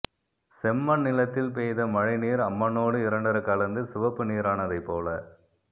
செம்மண் நிலத்தில் பெய்த மழை நீர் அம்மண்ணோடு இரண்டறக் கலந்து சிவப்பு நீரானதைப் போல